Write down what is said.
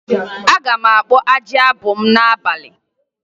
Aga m akpụ ajị abụ m n'abalị